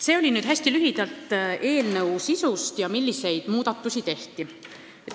See oli nüüd hästi lühike ülevaade eelnõu sisust ja sellest, milliseid muudatusi tehakse.